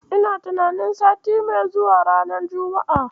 Ina tunanin sati mai zuwa, ranar juma'a.